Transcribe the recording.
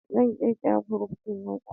Zan kirkiri group din WhatsApp.